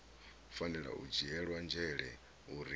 fanela u dzhielwa nzhele uri